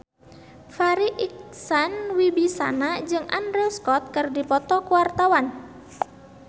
Farri Icksan Wibisana jeung Andrew Scott keur dipoto ku wartawan